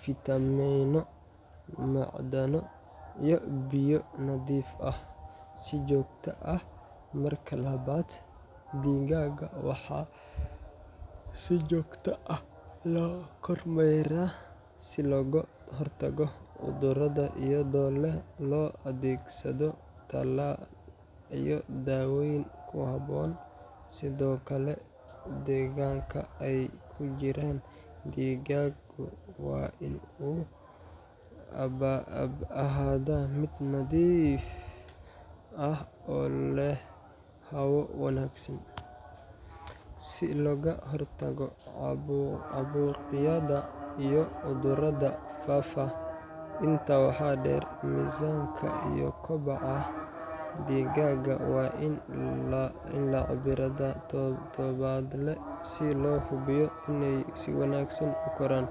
fiitamiino, macdano iyo biyo nadiif ah si joogto ah. Marka labaad, digaagga waxaa si joogto ah loo kormeeraa si looga hortago cudurro, iyadoo loo adeegsado tallaal iyo daaweyn ku habboon. Sidoo kale, deegaanka ay ku jiraan digaaggu waa in uu ahaadaa mid nadiif ah oo leh hawo wanaagsan, si looga hortago caabuqyada iyo cudurrada faafa. Intaa waxaa dheer, miisaanka iyo kobaca digaagga waa in la cabbiraa toddobaadle si loo hubiyo inay si wanaagsan u koraan.